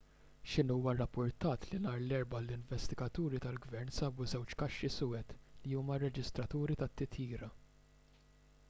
xinhua rrappurtat li nhar l-erbgħa l-investigaturi tal-gvern sabu żewġ kaxxi suwed' li huma r-reġistraturi tat-titjira